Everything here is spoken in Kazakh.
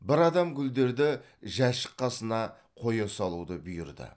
бір адам гүлдерді жәшік қасына қоя салуды бұйырды